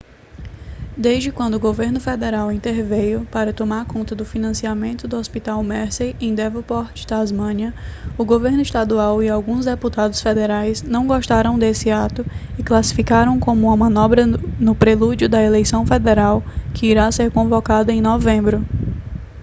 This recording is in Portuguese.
desde quando o governo federal interveio para tomar conta do financiamento do hospital mersey em devonport tasmânia o governo estadual e alguns deputados federais não gostaram desse ato e o classificaram como uma manobra no prelúdio da eleição federal que irá ser convocada em novembro